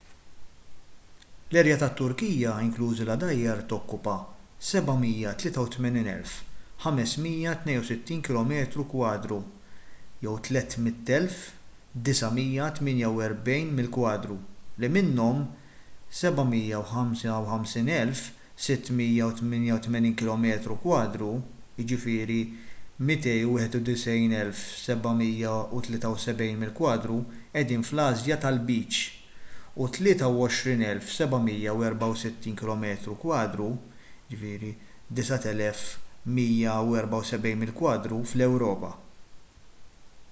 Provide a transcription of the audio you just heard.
l-erja tat-turkija inklużi l-għadajjar tokkupa 783,562 kilometru kwadru 300,948 mil kwadru li minnhom 755,688 kilometru kwadru 291,773 mil kwadru qegħdin fl-asja tal-lbiċ u 23,764 kilometru kwadru 9,174 mil kwadru fl-ewropa